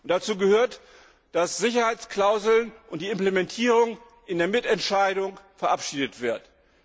Dazu gehört, dass Sicherheitsklauseln und die Implementierung in der Mitentscheidung verabschiedet werden.